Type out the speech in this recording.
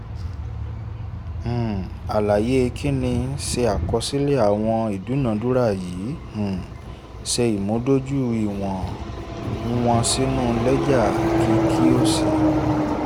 um àlàyé kìíní: ṣe àkọọ́lẹ̀ àwọn ìdúnàádúrà yìí um ṣé ìmúdójú ìwọ̀n wọn sínú lẹ́jà kí kí o sì